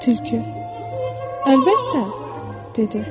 Tülkü: Əlbəttə, dedi.